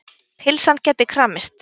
Pylsan gæti kramist.